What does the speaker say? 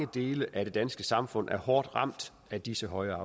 dele af det danske samfund er hårdt ramt af disse høje